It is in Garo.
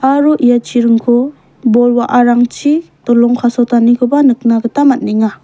aro ia chiringko bol wa·arangchi dolong kasotanikoba nikna gita man·enga.